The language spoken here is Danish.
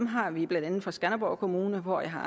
har vi blandt andet fra skanderborg kommune hvor jeg har